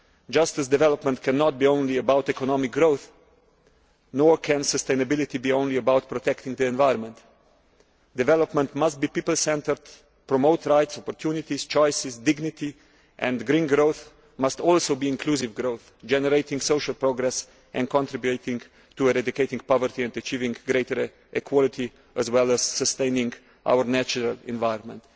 Just as development cannot be solely about economic growth, sustainability cannot be solely about protecting the environment. Development must be people centred, promoting rights, opportunities, choices and dignity, and green growth must also be inclusive growth, generating social progress and contributing to eradicating poverty and achieving greater equality, as well as sustaining our natural environment.